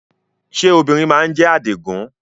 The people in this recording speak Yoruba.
Ṣé obìnrin má ń jẹ́ Àdìgún?